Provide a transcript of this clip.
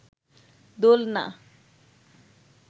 দোলনা